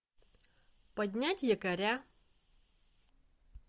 поднять якоря